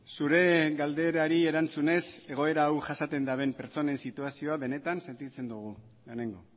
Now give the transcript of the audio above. zure galderari erantzunez egoera hau jasaten daben pertsonen situazioa benetan sentitzen dugu lehenengo